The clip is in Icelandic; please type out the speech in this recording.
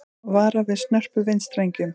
Varað við snörpum vindstrengjum